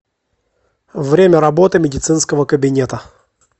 время работы медицинского кабинета